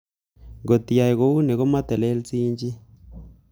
Ng'ot iyai ko uni, komotelelsiin chii.